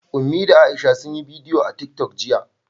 Ummi da Aisha sun yi bidiyo a TikTok jiya.